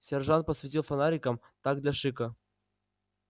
сержант посветил фонариком так для шика